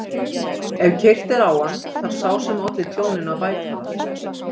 Ef keyrt er á hann þarf sá sem olli tjóninu að bæta það.